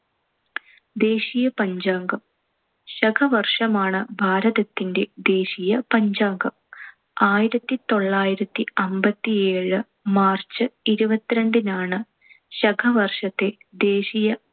ദേശീയ പഞ്ചാംഗം. ശകവർഷമാണ്‌ ഭാരതത്തിന്‍റെ ദേശീയ പഞ്ചാംഗം. ആയിരത്തിത്തൊള്ളായിരത്തി അമ്പത്തിയേഴ് March ഇരുപത്തിരണ്ടിനാണ് ശകവർഷത്തെ ദേശീയ